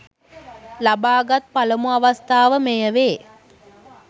ලබාගත් පළමු අවස්ථාව මෙය වේ